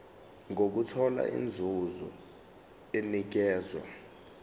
nokuthola inzuzo enikezwa